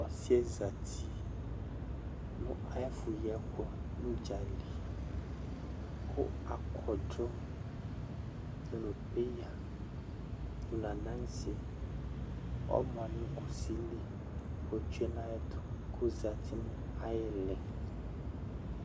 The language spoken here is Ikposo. Ɔsi yɛ zati nʋ ay'ɛfʋ yi ɛkʋ nʋ udzali kʋ akɔdʋ dʋnʋ peya, dʋ n'ananse ɔma nʋ kusi li k'otsue n'ay'ɛtʋ k'ozati nʋ ay'iili